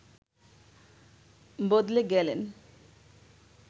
বদলে গেলেন